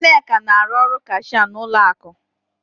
Nneka na-arụ kashịa n'ụlọ akụ.